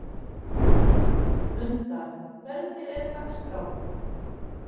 Munda, hvernig er dagskráin?